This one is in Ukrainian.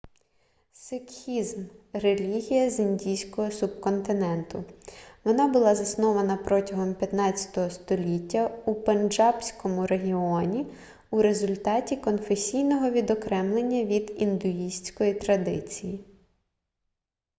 сикхізм релігія з індійського субконтиненту вона була заснована протягом 15 століття у пенджабському регіоні у результаті конфесійного відокремлення від індуїстської традиції